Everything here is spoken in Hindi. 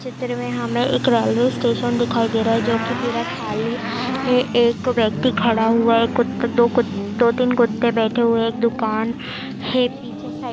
चित्र में हमें एक रेलवे स्टेशन दिखाई दे रहा है जो की पूरा खाली है एक व्यक्ति खड़ा हुआ एक कुत्ता दो कुत दो-तीन कुत्ते बैठे हुए हैं एक दुकान है पीछे साइड ।